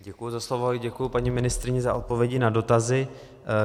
Děkuji za slovo a děkuji paní ministryni za odpovědi na dotazy.